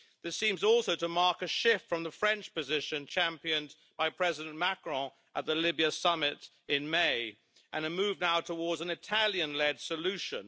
This seems also to mark a shift from the French position championed by President Macron at the Libya summit in May and a move now towards an Italian led solution.